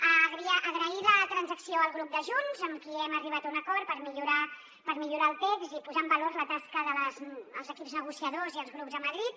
agrair la transacció al grup de junts amb qui hem arribat a un acord per millorar el text i posar en valor la tasca dels equips negociadors i els grups a madrid